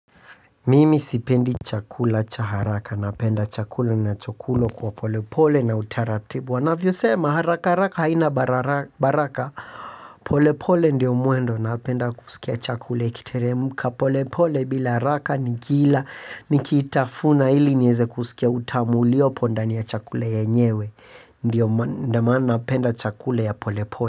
Mimi sipendi chakula cha haraka. Napenda chakula na chakulo kwa pole pole na utaratibu. Wanavyo sema haraka haraka haina baraka baraka. Pole pole ndio mwendo. Napenda kusikia chakule ikiteremuka. Pole pole bila haraka nikila nikitafuna ili nieze kusikia utamu ulio po ndani ya chakula yenyewe. Ndiyo maan ndomaana napenda chakula ya pole pole.